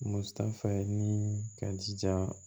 Musa ye ni ka jija